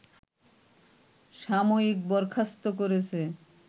সাময়িক বরখাস্ত করেছে